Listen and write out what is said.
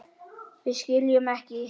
Við skiljum ekki.